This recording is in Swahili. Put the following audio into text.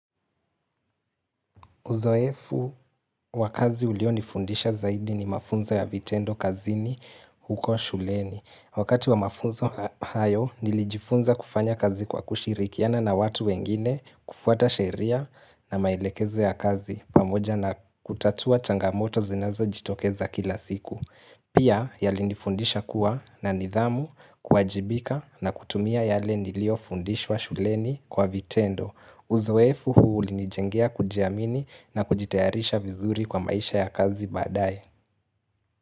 Uzoefu wakazi ulio nifundisha zaidi ni mafunzo ya vitendo kazini huko shuleni. Wakati wa mafunzo hayo nilijifunza kufanya kazi kwa kushirikiana na watu wengine kufuata sheria na maelekezo ya kazi pamoja na kutatua cangamoto zinazo jitokeza kila siku. Pia yalinifundisha kuwa na nidhamu kuajibika na kutumia yale nilio fundishwa shuleni kwa vitendo. Uzoefu huu uli nijengea kujiamini na kujitayarisha vizuri kwa maisha ya kazi baadae.